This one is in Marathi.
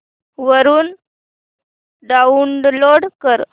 वरून डाऊनलोड कर